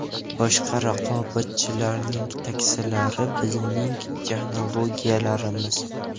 Boshqa raqobatchilarning taksilari bizning texnologiyalarimiz.